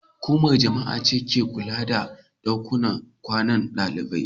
Hukumar jami'a ce ke kula da daƙunan ƙwanan daliɓai.